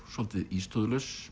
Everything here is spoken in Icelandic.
svolítið